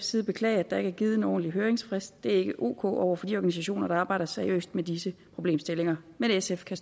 side beklage at der ikke er givet en ordentlig høringsfrist det er ikke ok over for de organisationer der arbejder seriøst med disse problemstillinger men sf kan